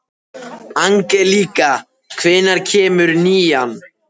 Angelíka, hvenær kemur nían?